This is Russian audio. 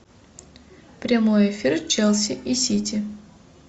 прямой эфир челси и сити